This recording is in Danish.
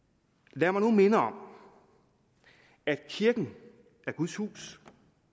lad mig nu minde om at kirken er guds hus